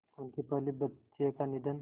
उनके पहले बच्चे का निधन